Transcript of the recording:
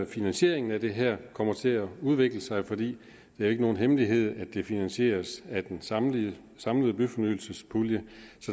finansieringen af det her kommer til at udvikle sig for det er ikke nogen hemmelighed at det finansieres af den samlede samlede byfornyelsespulje